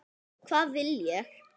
Hvað vil ég?